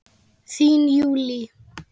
Þín Júlí.